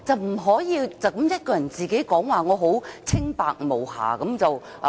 不可以只是自己一個人說："我很清白無瑕。